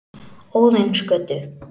Óðinsgötu